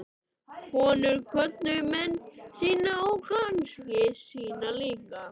Konur kvöddu menn sína og kannski syni líka.